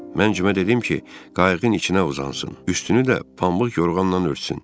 Mən Cimə dedim ki, qayıqın içinə uzansın, üstünü də pambıq yorğanla örtsün.